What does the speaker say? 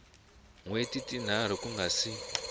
hweti tinharhu ku nga si